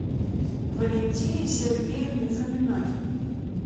валентине сергеевне фоминой